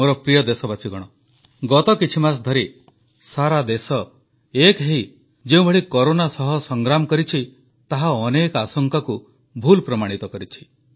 ମୋର ପ୍ରିୟ ଦେଶବାସୀଗଣ ଗତ କିଛିମାସ ଧରି ସାରା ଦେଶ ଏକ ହୋଇ ଯେଉଁଭଳି କରୋନା ସହ ସଂଗ୍ରାମ କରିଛି ତାହା ଅନେକ ଆଶଙ୍କାକୁ ଭୁଲ ପ୍ରମାଣିତ କରିଛି